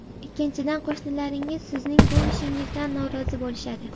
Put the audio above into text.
Ikkinchidan, qo‘shnilaringiz sizning bu ishingizdan norozi bo‘lishadi.